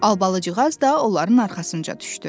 Albalıcığaz da onların arxasınca düşdü.